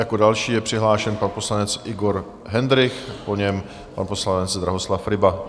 Jako další je přihlášen pan poslanec Igor Hendrych, po něm pan poslanec Drahoslav Ryba.